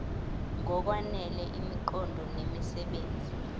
ngokwanele imiqondo nemisebenzi